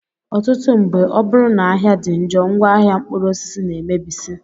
Ọtụtụ mgbe, ọ bụrụ na ahịa dị njọ, ngwaahịa mkpụrụosisi na-emebisị